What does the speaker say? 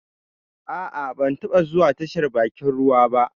Ah ah, ba taba zuwa tashar bakin ruwa ba